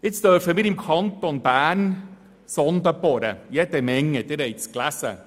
Im Kanton Bern dürfen wir – wie Sie gelesen haben – jede Menge Sondenbohrungen durchführen.